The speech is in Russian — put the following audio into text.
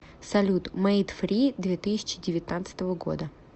салют мейд фри две тысячи девятнадцатого года